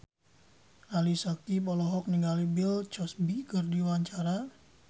Ali Syakieb olohok ningali Bill Cosby keur diwawancara